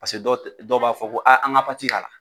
Paseke dɔw tɛ dɔw b'a fɔ ko aa an ka k'a la.